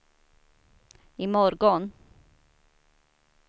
imorgon